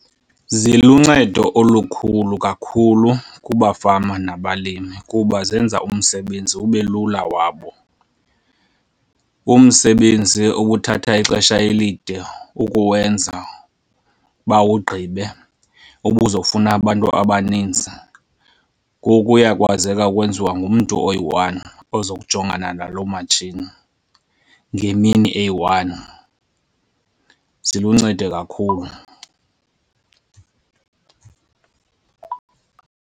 Ziluncedo olukhulu kakhulu kubafama nabalimi kuba zenza umsebenzi ube lula wabo. Umsebenzi obuthatha ixesha elide ukuwenza bawugqibe obuzofuna abantu abaninzi ngoku uyakwazeka ukwenziwa ngumntu oyi-one ozokujongana nalo matshini ngemini eyi-one. Ziluncedo kakhulu.